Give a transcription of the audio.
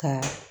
Ka